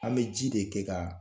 An bɛ ji de kɛ kaa